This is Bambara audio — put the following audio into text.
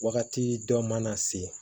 Wagati dɔ mana se